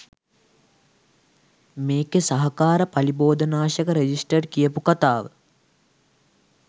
මේකේ සහකාර පලිබෝධනාශක රෙජිස්ටර් කියපු කතාව.